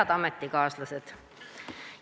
Head ametikaaslased!